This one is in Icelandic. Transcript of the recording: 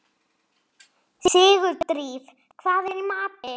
Sigurdríf, hvað er í matinn?